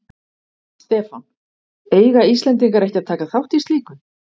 Stefán: Eiga Íslendingar ekki að taka þátt í slíku?